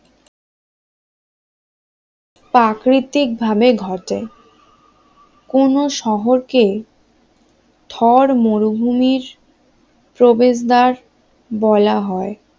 প্রাকৃতিক ভাবে ঘটে কোন শহরকে থর মরুভূমির প্রবেশদ্বার বলা হয়?